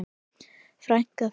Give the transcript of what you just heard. Frænka þín?